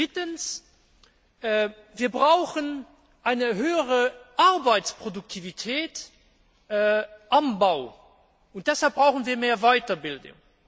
Drittens Wir brauchen eine höhere Arbeitsproduktivität am Bau, und deshalb brauchen wir mehr Weiterbildung.